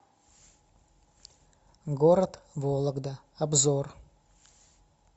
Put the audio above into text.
город вологда обзор